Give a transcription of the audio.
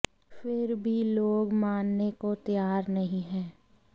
फिर भी लोग मानने को तैयार नहीं है